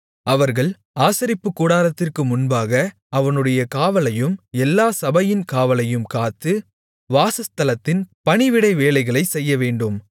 அவர்கள் ஆசரிப்புக் கூடாரத்திற்கு முன்பாக அவனுடைய காவலையும் எல்லாச் சபையின் காவலையும் காத்து வாசஸ்தலத்தின் பணிவிடை வேலைகளைச் செய்யவேண்டும்